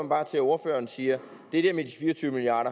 bare til at ordføreren siger at det der med de fire og tyve milliard